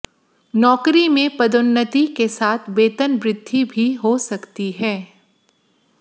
नौकरी में पदोन्नति के साथ वेतन वृद्धि भी हो सकती है